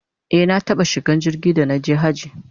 e na taɓa shiga jirgi da naje hajji